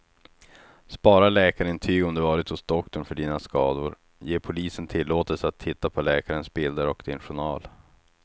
Spara läkarintyg om du varit hos doktorn för dina skador, ge polisen tillåtelse att titta på läkarens bilder och din journal.